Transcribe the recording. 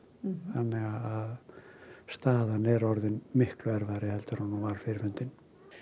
þannig að staðan er orðin miklu erfiðari heldur en hún var fyrir fundinn